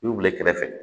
I y'u bila kɛrɛfɛ